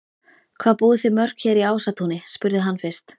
Hvað búið þið mörg hér í Ásatúni? spurði hann fyrst.